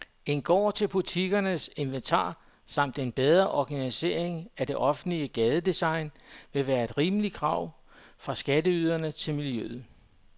En gård til butikkens inventar samt en bedre organisering af det offentlige gadedesign ville være et rimeligt krav fra skatteyderne til miljøet.